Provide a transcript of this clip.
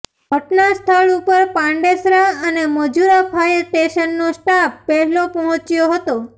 ઘટનાસ્થળ ઉપર પાંડેસરા અને મજૂરા ફાયર સ્ટેશનનો સ્ટાફ પહેલો પહોંચ્યો હતો